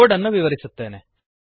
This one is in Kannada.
ಕೋಡ್ ಅನ್ನು ವಿವರಿಸುತ್ತೇನೆ